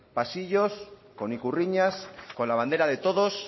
pasillos con ikurriñas con la bandera de todos